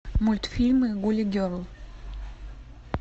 мультфильмы гули герл